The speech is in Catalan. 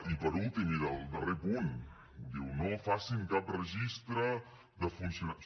i per últim i del darrer punt diu no facin cap registre de funcionaris